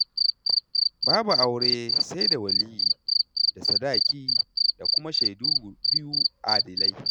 Babu aure sai da waliyyi da sadaki da kuma shaidu biyu adalai.